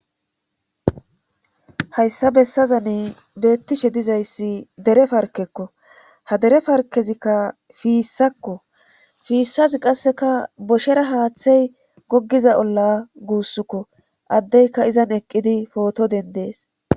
hayssa bessazani beettishe dizayssi dere parkekko ha dere parkezikka fiissakko fiissazi qasseka boshera haaththey gogiza olla guussukko addeyka izan eqqidi pooto dendees